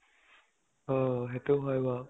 অ । সেইটো হয় বাৰু ।